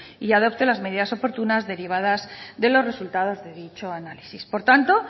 y adoptó las medidas oportunas derivadas de los resultados de dicho análisis por tanto